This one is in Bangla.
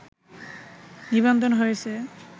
নিবন্ধন হয়েছে